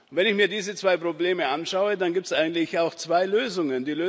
Wenn ich mir diese zwei Probleme anschaue, dann gibt es eigentlich auch zwei Lösungen.